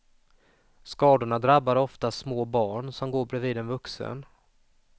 Skadorna drabbar oftast små barn som går bredvid en vuxen.